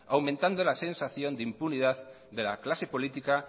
aumentando la sensación de impunidad de la clase política